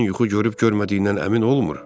İnsan yuxu görüb görmədiyindən əmin olmur?